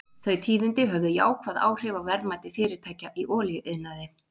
Þau tíðindi höfðu jákvæð áhrif á verðmæti fyrirtækja í olíuiðnaði.